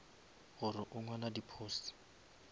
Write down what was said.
gore o ngwala di posts